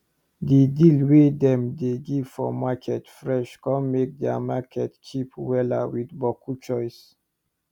the deal wey dem dey give for market fresh con make dia market cheap wella with boku choice